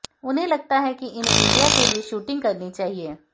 उन्हें लगता है कि इन्हें इंडिया के लिए शूटिंग करनी चाहिए